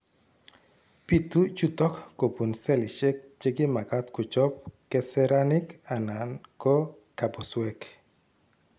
Bitu chutok kobun selishek chekimagat kochop keseraanik anan ko kebusweek